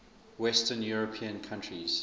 western european countries